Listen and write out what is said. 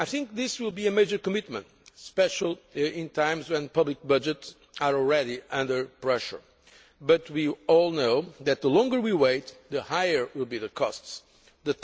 This will be a major commitment, especially at a time when public budgets are already under pressure, but we all know that the longer we wait, the higher the costs will